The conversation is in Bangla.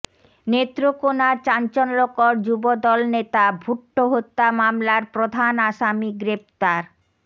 নেত্রকোনার চাঞ্চল্যকর যুবদল নেতা ভূট্টো হত্যা মামলার প্রধান আসামী গ্রেফতার